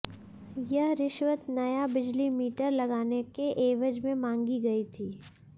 यह रिश्वत नया बिजली मीटर लगाने के ऐवज में मांगी गई थी